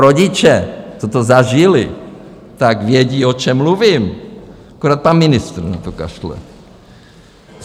Rodiče, co to zažili, tak vědí, o čem mluvím, akorát pan ministr na to kašle.